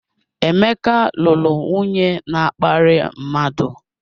Emeka lụrụ nwunye na-akparị mmadụ.